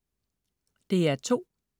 DR2: